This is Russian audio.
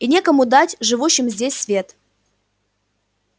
и некому дать живущим здесь свет